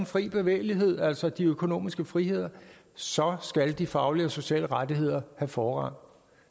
fri bevægelighed altså de økonomiske friheder så skal de faglige og sociale rettigheder have forrang